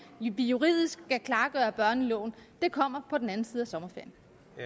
vi juridisk skal klargøre børneloven det kommer på den anden side af sommerferien